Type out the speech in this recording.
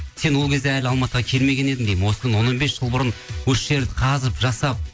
сен ол кезде әлі алматыға келмеген едің деймін осы он он бес жыл бұрын осы жерді қазып жасап